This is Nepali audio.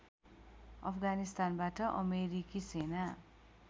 अफगानिस्तानबाट अमेरिकी सेना